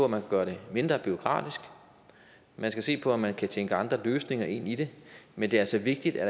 man kan gøre det mindre bureaukratisk man skal se på om man kan tænke andre løsninger ind i det men det er altså vigtigt at